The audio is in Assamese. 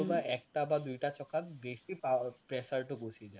কোনোবা এটা বা দুয়োটা চকাত বেছি power, pressure টো গুচি যায়